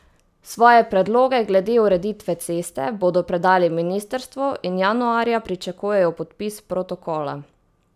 Svoje predloge glede ureditve ceste bodo predali ministrstvu in januarja pričakujejo podpis protokola.